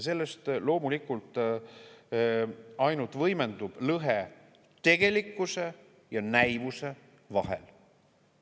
Sellest loomulikult ainult võimendub lõhe tegelikkuse ja näivuse vahel.